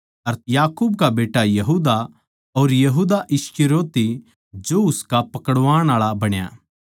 अर याकूब का बेट्टा यहूदा अर यहूदा इस्करियोती जो उसका पकड़वाण आळा बण्या